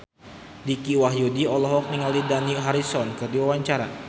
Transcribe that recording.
Dicky Wahyudi olohok ningali Dani Harrison keur diwawancara